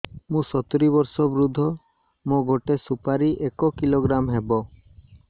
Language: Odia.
ମୁଁ ସତୂରୀ ବର୍ଷ ବୃଦ୍ଧ ମୋ ଗୋଟେ ସୁପାରି ଏକ କିଲୋଗ୍ରାମ ହେବ